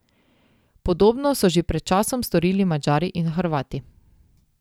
Podobno so že pred časom storili Madžari in Hrvati.